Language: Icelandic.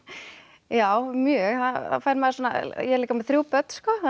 já mjög ég er líka með þrjú börn